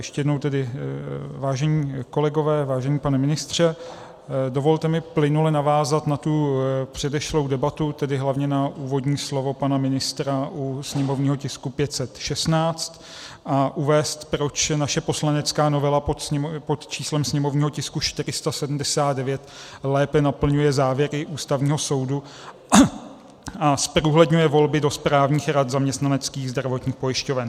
Ještě jednou tedy, vážení kolegové, vážený pane ministře, dovolte mi plynule navázat na tu předešlou debatu, tedy hlavně na úvodní slovo pana ministra u sněmovního tisku 516, a uvést, proč naše poslanecká novela pod číslem sněmovního tisku 479 lépe naplňuje závěry Ústavního soudu a zprůhledňuje volby do správních rad zaměstnaneckých zdravotních pojišťoven.